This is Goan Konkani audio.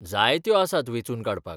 जायत्यो आसात वेंचून काडपाक.